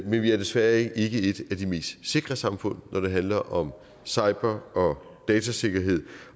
men vi er desværre ikke et af de mest sikre samfund når det handler om cyber og datasikkerhed